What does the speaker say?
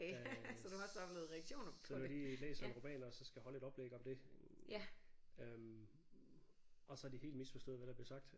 Øh så har vi lige læst en roman og så skal holde et oplæg om det øh og så har de helt misforstået hvad der blev sagt